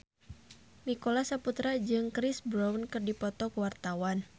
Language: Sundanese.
Nicholas Saputra jeung Chris Brown keur dipoto ku wartawan